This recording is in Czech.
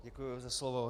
Děkuji za slovo.